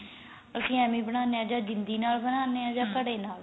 ਅਸੀਂ ਐਵੇ ਈ ਬਣਾਨੇ ਆ ਜਾਂ ਜਿੰਦੀ ਨਾਲ ਬਣਾਂਦੇ ਆ ਘੜੇ ਨਾਲ